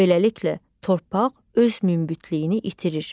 Beləliklə, torpaq öz münbitliyini itirir.